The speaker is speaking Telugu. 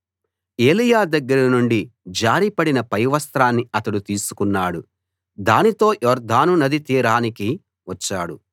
ఏలీయా దగ్గర నుండి జారి పడిన పైవస్త్రాన్ని అతడు తీసుకున్నాడు దానితో యొర్దాను నదీ తీరానికి వచ్చాడు